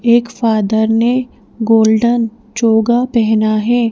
एक फादर ने गोल्डन चोगा पहना है।